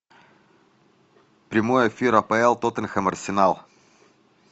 прямой эфир апл тоттенхэм арсенал